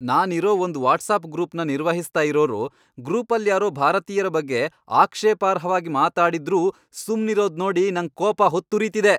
ನಾನಿರೋ ಒಂದ್ ವಾಟ್ಸಾಪ್ ಗ್ರೂಪ್ನ ನಿರ್ವಹಿಸ್ತಾ ಇರೋರು ಗ್ರೂಪಲ್ಯಾರೋ ಭಾರತೀಯ್ರ ಬಗ್ಗೆ ಆಕ್ಷೇಪಾರ್ಹವಾಗ್ ಮಾತಾಡಿದ್ರೂ ಸುಮ್ನಿರೋದ್ನೋಡಿ ನಂಗ್ ಕೋಪ ಹೊತ್ತುರಿತಿದೆ.